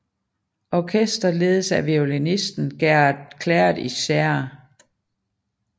Orkesteret ledes af violinisten Gerard Claret i Serra